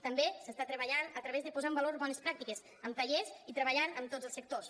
també s’està treballant a través de posar en valor bones pràctiques amb tallers i treballant amb tots els sectors